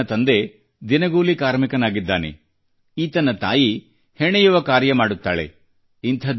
ಈ ಬಾಲಕನ ತಂದೆ ದಿನಗೂಲಿ ಕಾರ್ಮಿನಾಗಿದ್ದಾನೆ ಈತನ ತಾಯಿ ಹೆಣೆಯುವ ಕಾರ್ಯ ಮಾಡುತ್ತಾಳೆ